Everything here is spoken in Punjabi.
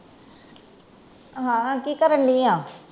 ਹਾਂ, ਕਿ ਕਰਨ ਦਈ ਆਂ?